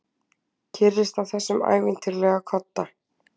Kyrrist á þessum ævintýralega kodda.